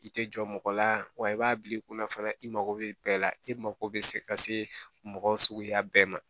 I tɛ jɔ mɔgɔ la wa i b'a bila i kunna fana i mago bɛ bɛɛ la e mago bɛ se ka se mɔgɔ suguya bɛɛ ma